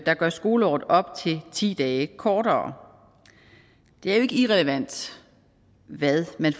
der gør skoleåret op til ti dage kortere det er jo ikke irrelevant hvad man